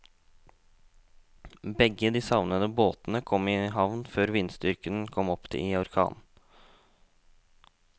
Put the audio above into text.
Begge de savnede båtene kom i havn før vindstyrken kom opp i orkan.